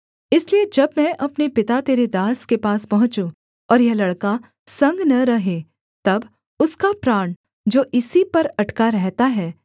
इसलिए जब मैं अपने पिता तेरे दास के पास पहुँचूँ और यह लड़का संग न रहे तब उसका प्राण जो इसी पर अटका रहता है